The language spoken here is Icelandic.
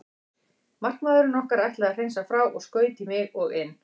Markamaðurinn okkar ætlaði að hreinsa frá og skaut í mig og inn.